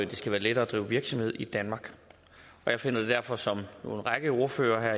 det skal være lettere at drive virksomhed i danmark og jeg finder det derfor som en række ordførere her